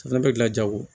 O fɛnɛ bɛ gilan jago